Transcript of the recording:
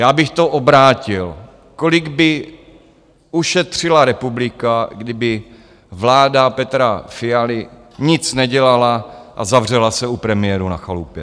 Já bych to obrátil - kolik by ušetřila republika, kdyby vláda Petra Fialy nic nedělala a zavřela se u premiérů na chalupě.